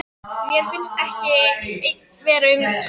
Mér finnst ég ekki einn um að vera svona